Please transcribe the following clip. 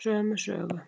Sömu sögu